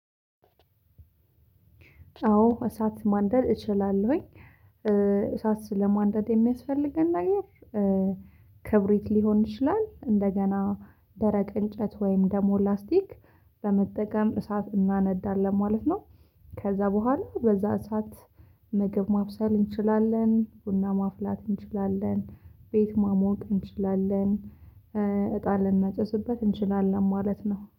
አዎ እሳት ማንደድ እችላለሁኝ እሳት ስለማንደድ የሚያስፈልገን ነገር ክብሪት ሊሆን ይችላል እንደገና ደረቅ እንጨት ወይም ደሞ ላስቲክ በመጠቀም እሳት እናነዳለን ማለት ነው። ከዛ በኋላ በዛ እሳት ምግብ ማብሰል እንችላለን፣ ቡና ማፍላት እንችላለን፣ ቤት ማሞቅ እንችላለን፣ እጣን ልናጨስበት እንችላለን ማለት ነው።